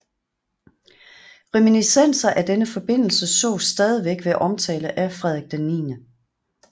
Reminiscenser af denne forbindelse sås stadig ved omtale af Frederik 9